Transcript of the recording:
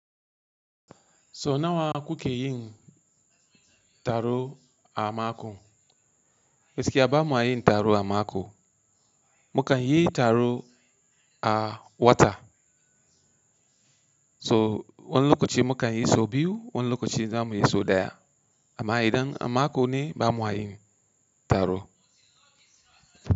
So nawa kuke yin taro a mako? Gaskiya ba ma yin taro a mako. Mu kan yi taro a wata. So wani lokaci mu kan yi sau biyu, wani lokaci zamu yi so ɗaya. Amma idan a mako ne ba mua yin taro.